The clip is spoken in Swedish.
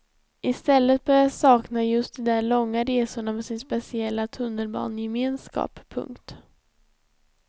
I stället börjar jag sakna just de där långa resorna med sin speciella tunnelbanegemenskap. punkt